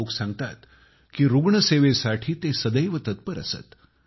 लोक सांगतात कि रुग्णसेवेसाठी ते सैद्यव तत्पर असत